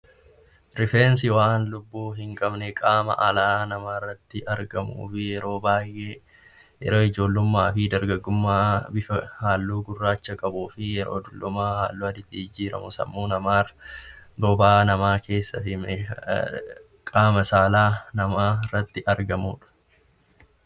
Rifeensi waan lubbuu hin qabne qaama alaa namaarratti argamu yeroo baay'ee yeroo ijoollummaa fi yeroo dargaggummaa bifa halluu gurraacha qabuu fi yeroo dullumaa halluu jijjiirama. Sammuu namaa bobaa namaa keessa deemee qaama saalaa namaarratti argamudha